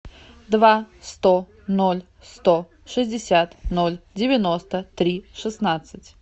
два сто ноль сто шестьдесят ноль девяносто три шестнадцать